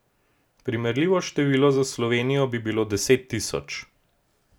Primerljivo število za Slovenijo bi bilo deset tisoč.